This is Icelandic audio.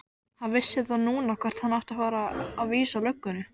Hann vissi þá núna hvert hann átti að vísa löggunni!